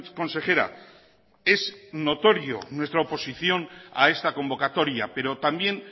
consejera es notorio nuestra oposición a esta convocatoria pero también